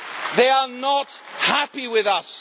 They are not happy with